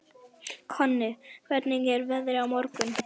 Konni, hvernig er veðrið á morgun?